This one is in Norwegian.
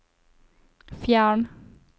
fjern